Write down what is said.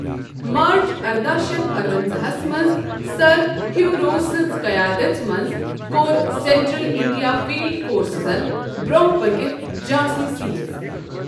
مارچ ارداہ شیتھ ارونزاہس منٛز سَر ہیوٚو روز سٕنٛزِ قیادژ منٛز کوٚر سینٹرل انڈیا فیلڈ فورسزن برۅنٛہہ پٔکِتھ جانسی سیز۔